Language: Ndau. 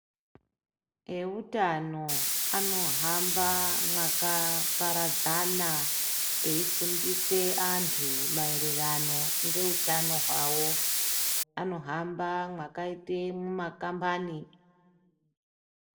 Eutano anohamba mwakaparadzana eifundise antu maererano ngeutano hwawo. Anohamba mwakaite mumakambani.